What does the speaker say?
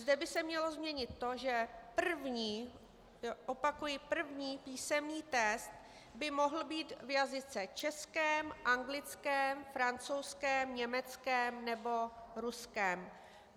Zde by se mělo změnit to, že první - opakuji první - písemný test by mohl být v jazyce českém, anglickém, francouzském, německém nebo ruském.